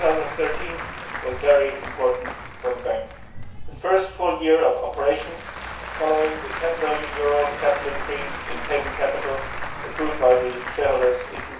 2013 was very important for the Bank the first full year of operations following the EUR 10 billion capital increase in paid in capital approved by the shareholders in